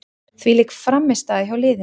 Þvílík frammistaða hjá liðinu.